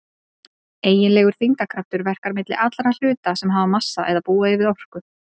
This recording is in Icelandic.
Eiginlegur þyngdarkraftur verkar milli allra hluta sem hafa massa eða búa yfir orku.